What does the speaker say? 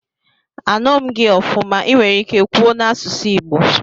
Anughi m gi ofuma, iwere ike kwuo n'asusu igbo?